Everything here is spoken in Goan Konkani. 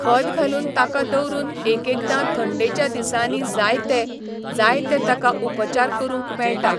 खत घालून ताका दवरून एकएकदां थंडेच्या दिसांनी जायते, जायते ताका उपचार करूंक मेळटा.